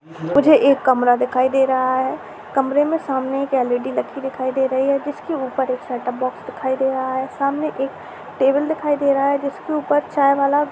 मुझे एक कमरा दिखायी दे रहा हैकमरे में सामने एक एल_ई_डी रखी दिखायी दे रही है जीसके ऊपर एक सेटअप बॉक्स दिखायी दे रहा है सामने एक टेबल दिखायी दे रहा है जिसके ऊपर चायवाला--